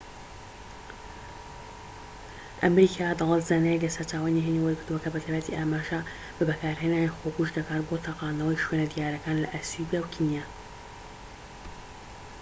ئەمریکا دەڵێت زانیاری لە سەرچاوەی نهێنی وەرگرتووە کە بە تایبەتی ئاماژە بە بەکارهێنانی خۆکوژ دەکات بۆ تەقاندنەوەی شوێنە دیارەکان لە ئەسیوبیا و کینیا